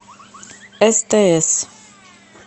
стс